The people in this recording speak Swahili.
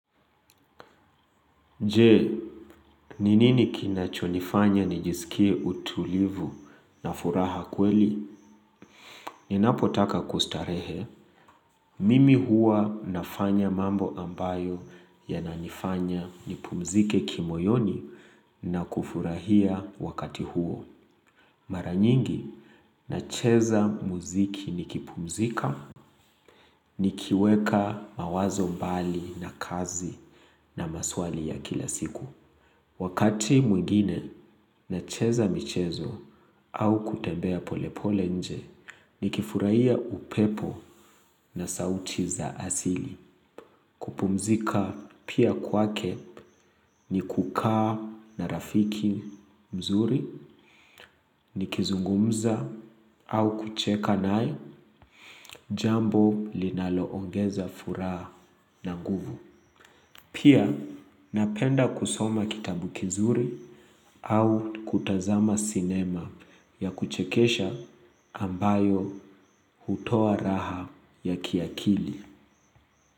Je, ni nini kinachonifanya nijisikie utulivu na furaha kweli? Ninapotaka kustarehe, mimi huwa nafanya mambo ambayo yananifanya nipumzike kimoyoni na kufurahia wakati huo. Mara nyingi, nacheza muziki nikipumzika, nikiweka mawazo mbali na kazi na maswali ya kila siku. Wakati mwingine nacheza michezo au kutembea pole pole nje, nikifurahia upepo na sauti za asili. Kupumzika pia kwake ni kukaa na rafiki mzuri, nikizungumza au kucheka naye, jambo linaloongeza furaha na nguvu. Pia napenda kusoma kitabu kizuri au kutazama cinema ya kuchekesha ambayo hutoa raha ya kiakili.